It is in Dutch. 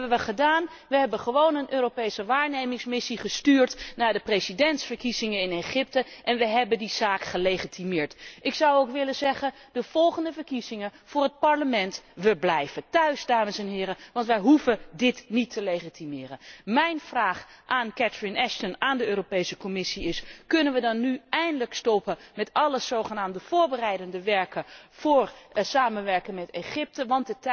Wat hebben wij gedaan? Wij hebben gewoon een Europese waarnemingsmissie gestuurd naar de presidentsverkiezingen in Egypte en wij hebben die zaak gelegitimeerd. Ik zou nu dan ook willen zeggen bij de volgende verkiezingen voor het parlement blijven wij thuis, dames en heren, want wij hoeven dit niet te legitimeren! Mijn vraag aan Catherine Ashton, aan de Europese Commissie is kunnen wij nu dan eindelijk stoppen met alle zogenaamde voorbereidende werkzaamheden voor samenwerking met Egypte?